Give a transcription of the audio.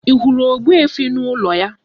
Ị hụrụ ogbuefi n'ụlọ ya?